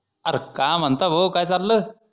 अरे का म्हणता भो काय चाल्ल